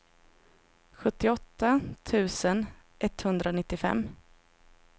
sjuttioåtta tusen etthundranittiofem